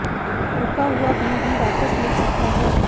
रुका हुआ धन भी वापस मिल सकता है